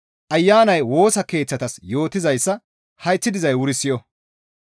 «Ayanay Woosa Keeththatas yootizayssa hayth dizay wuri siyo!